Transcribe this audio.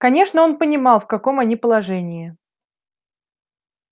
конечно он понимал в каком они положении